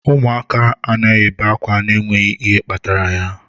Ụmụaka anaghị ebe ákwá n'enweghị ihe kpatara ya.